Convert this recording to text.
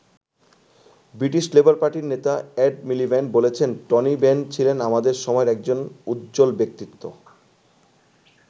British Labour পার্টির নেতা Ed Miliband বলেছেন টনি বেন ছিলেন "আমাদের সময়ের একজন উজ্জ্বল ব্যক্তিত্ব"।